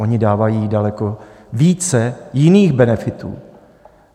Oni dávají daleko více jiných benefitů.